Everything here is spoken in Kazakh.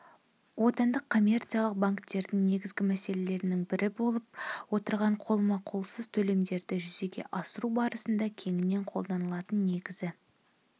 отандық коммерциялық банктердің негізгі мәселелерінің бірі болып отырған қолма-қолсыз төлемдерді жүзеге асыру барысында кеңінен қолданылатын негізгі